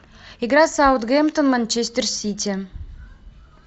игра саутгемптон манчестер сити